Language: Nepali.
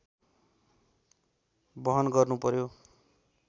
वहन गर्नुपर्‍यो